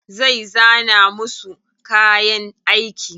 Zai zana musu kayan aiki.